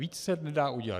Víc se nedá udělat.